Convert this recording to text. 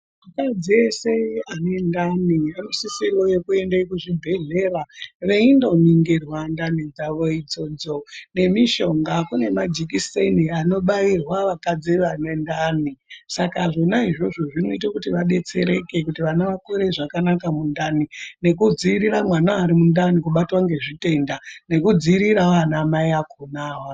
Akadzi ese ane ndani anosisirwe kuenda kuchibhedhlera veindoningirwa ndani dzavo idzodzo nemishonga. Kune majekiseni anobairwa vakadzi vane ndani saka zvona izvozvo zvinota kuti vabetsereke kuti vana vakure zvakanaka mundani. Nekudzirira mwana ari mundani kubatatwa ngezvitenda nekudziriravo ana mai akona.